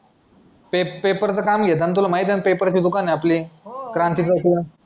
ते पेपरचं काम घेतात ना तुला माहीत आहे ना पेपरचं दुकान आहे आपली क्रांति